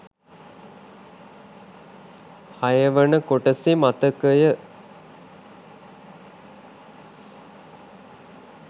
හයවන කොටසේ මතකය